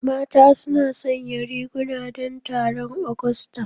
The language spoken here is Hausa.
Mata suna sanya riguna don taron Agusta.